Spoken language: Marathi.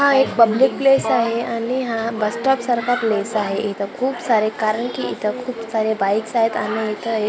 हां एक पब्लिक प्लेस आहे आणि हा बस स्टॉप सारखा प्लेस आहे इथे खूप सारे कारण कि इथे खूप सारे बाइक्स आहे आणि इथं एक--